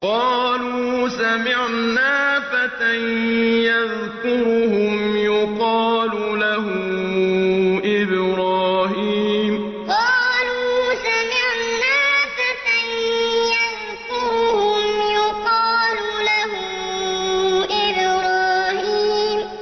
قَالُوا سَمِعْنَا فَتًى يَذْكُرُهُمْ يُقَالُ لَهُ إِبْرَاهِيمُ قَالُوا سَمِعْنَا فَتًى يَذْكُرُهُمْ يُقَالُ لَهُ إِبْرَاهِيمُ